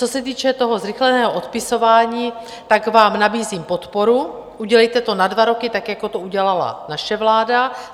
Co se týče toho zrychleného odpisování, tak vám nabízím podporu, udělejte to na dva roky, tak jako to udělala naše vláda.